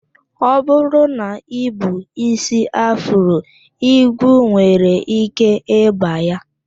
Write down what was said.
Ọ bụrụ na I bu ísí afro, igwu nwere ike ịba ya